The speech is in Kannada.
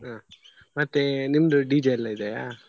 ಹ ಮತ್ತೆ ನಿಮ್ದು DJ ಎಲ್ಲ ಇದೆಯಾ?